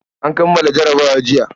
An kammala jarabawa jiya.